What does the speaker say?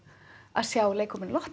að sjá leikhópinn